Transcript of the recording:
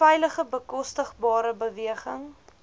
veilige bekostigbare beweging